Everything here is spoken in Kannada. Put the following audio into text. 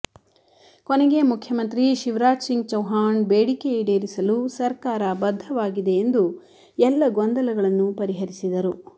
ಕೊನೆಗೆ ಮುಖ್ಯಮಂತ್ರಿ ಶಿವರಾಜ್ ಸಿಂಗ್ ಚೌಹಾಣ್ ಬೇಡಿಕೆ ಈಡೇರಿಸಲು ಸರ್ಕಾರ ಬದ್ಧವಾಗಿದೆ ಎಂದು ಎಲ್ಲ ಗೊಂದಲಗಳನ್ನೂ ಪರಿಹರಿಸಿದರು